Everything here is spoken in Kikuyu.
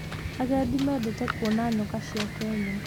Agendi mendete kuona nyoka cia Kenya.